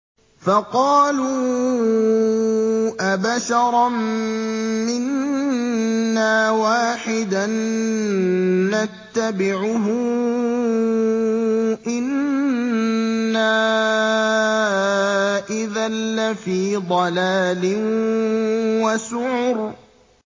فَقَالُوا أَبَشَرًا مِّنَّا وَاحِدًا نَّتَّبِعُهُ إِنَّا إِذًا لَّفِي ضَلَالٍ وَسُعُرٍ